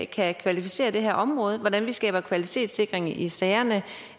kan kvalificere det her område hvordan vi skaber kvalitetssikring i sagerne